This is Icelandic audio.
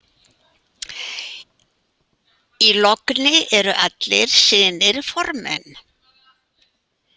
Í logni eru allir synir formenn.